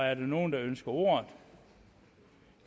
er der nogen der ønsker ordet